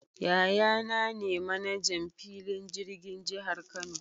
Yaya naa ne 'manajan' filin jirgin jihar Kano.